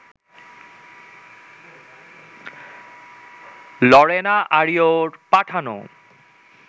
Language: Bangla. লরেনা আরিয়োর পাঠানো